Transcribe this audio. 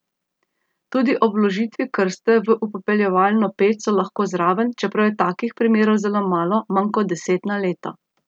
Tudi ob vložitvi krste v upepeljevalno peč so lahko zraven, čeprav je takih primerov zelo malo, manj kot deset na leto.